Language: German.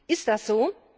Ist das so?